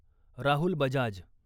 Rahul Bajaj